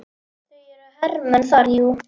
Það eru hermenn þar, jú.